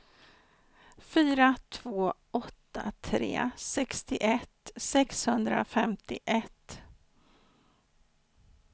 fyra två åtta tre sextioett sexhundrafemtioett